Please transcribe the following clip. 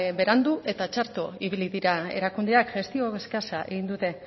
berandu eta txarto ibili dira erakundeak gestio eskasa egin dute